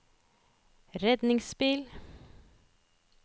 redningsbil